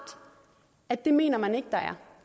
at det mener man ikke der er